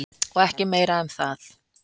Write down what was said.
Og ekki meira um það.